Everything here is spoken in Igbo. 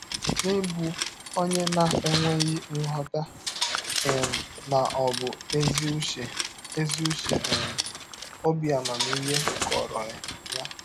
N’ịbụ ọnye na - enweghị nghọta um ma ọ bụ ezi ụche ezi ụche um, ọbi amamihe kọrọ ya.